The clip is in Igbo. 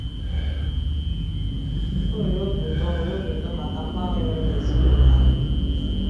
Ọ nwere obi ụtọ nwere obi ụtọ maka mgbanwe mere n’ezinụlọ anyị.